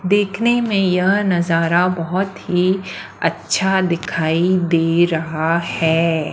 देखने में यह नजारा बहुत ही अच्छा दिखाई दे रहा है।